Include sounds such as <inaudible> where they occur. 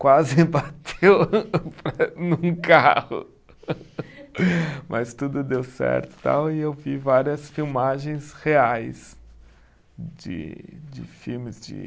Quase bateu <laughs> num carro, <laughs> mas tudo deu certo e tal, e eu vi várias filmagens reais de de filmes, de